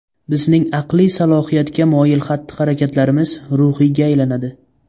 Bizning aqliy salohiyatga moyil xatti–harakatlarimiz ruhiyga aylanadi.